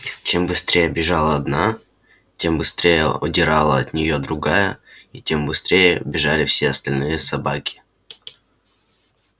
чем быстрее бежала одна тем быстрее удирала от нее другая и тем быстрее бежали все остальные собаки